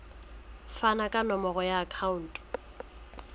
fane ka nomoro ya akhauntu